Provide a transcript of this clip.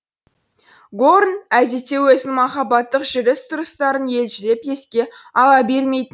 горн әдетте өзінің махаббаттық жүріс тұрыстарын елжіреп еске ала